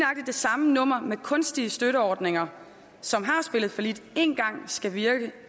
det samme nummer med kunstige støtteordninger som har spillet fallit én gang skulle virke